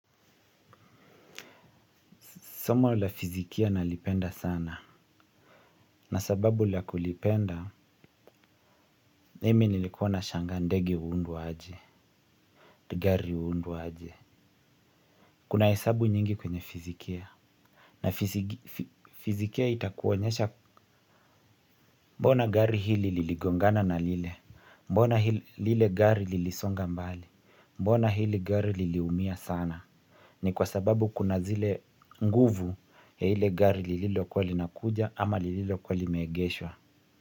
Somo la fizikia nalipenda sana. Na sababu la kulipenda, mimi nilikuwa nashangaa ndege huundwaje. Gari huundwaje. Kuna hesabu nyingi kwenye fizikia. Na fizikia itakuonyesha mbona gari hili liligongana na lile. Mbona lile gari lilisonga mbali. Mbona hili gari liliumia sana. Ni kwa sababu kuna zile nguvu ya hile gari lililokuwa linakuja ama lililokuwa limeegeshwa.